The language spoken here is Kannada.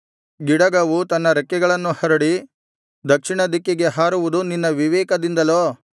ಗಿಡಗವು ತನ್ನ ರೆಕ್ಕೆಗಳನ್ನು ಹರಡಿ ದಕ್ಷಿಣದಿಕ್ಕಿಗೆ ಹಾರುವುದು ನಿನ್ನ ವಿವೇಕದಿಂದಲೋ